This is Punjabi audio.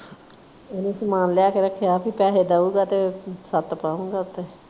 ਉਹਨੇ ਸਮਾਨ ਲਿਆ ਕੇ ਰੱਖਿਆ ਸੀ। ਪੈਸੇ ਦਊਗਾ ਤੇ ਛੱਤ ਪਊਗਾ ਉੱਤੇ।